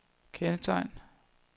kendetegn